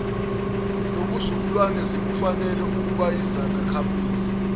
nobuzukulwane zikufanele ukubayizakhamizi